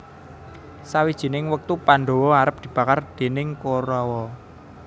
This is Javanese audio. Sawijining wektu Pandhawa arep dibakar déning Korawa